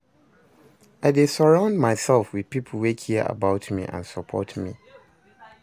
i dey surround myself with people wey care about me and support me.